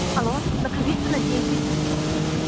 алло наговицына десять